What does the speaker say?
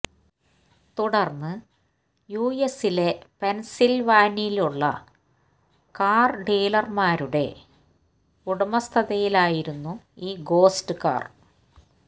തുടർന്ന് യുഎസിലെ പെൻസിൽവാനിയുള്ള കാർ ഡീലർമാരുടെ ഉടമസ്ഥതയിലായിരുന്നു ഈ ഗോസ്റ്റ് കാർ